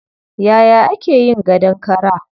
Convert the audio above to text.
Yaya ake yin gadon kara?